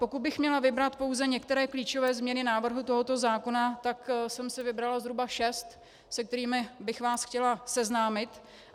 Pokud bych měla vybrat pouze některé klíčové změny návrhu tohoto zákona, tak jsem si vybrala zhruba šest, se kterými bych vás chtěla seznámit.